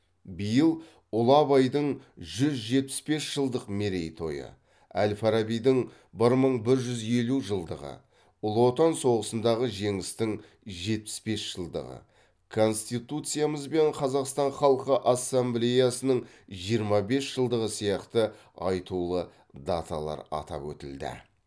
биыл ұлы абайдың жүз жетпіс бес жылдық мерейтойы әл фарабидің бір мың бір жүз елу жылдығы ұлы отан соғысындағы жеңістің жетпіс бес жылдығы конституциямыз бен қазақстан халқы ассамблеясының жиырма бес жылдығы сияқты айтулы даталар атап өтілді